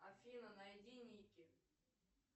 афина найди ники